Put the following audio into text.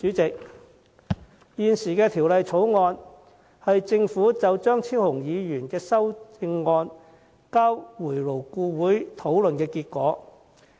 這項《條例草案》是政府就張超雄議員的修正案交回勞顧會討論的成果。